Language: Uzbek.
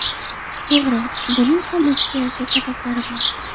To‘g‘ri, buning ham o‘ziga yarasha sabablari bor.